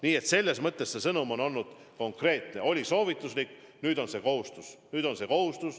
Nii et selles mõttes sõnum on olnud konkreetne: oli soovituslik, nüüd on kohustuslik.